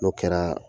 N'o kɛra